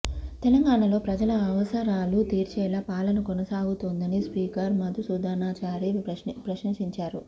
తెలంగాణలో ప్రజల అవసరాలు తీర్చేలా పాలన కొనసాగుతోందని స్పీకర్ మధుసూదనాచారి ప్రశంసించారు